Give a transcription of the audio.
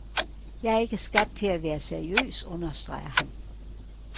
Jeg er ikke skabt til at være seriøs, understreger han.